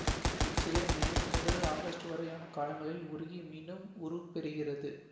இச்சிலை May முதல் August வரையான காலங்களில் உருகி மீண்டும் உருப்பெறுகிறது